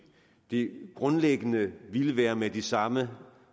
det grundlæggende ville være med de samme